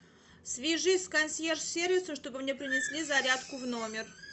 свяжись с консьерж сервисом чтобы мне принесли зарядку в номер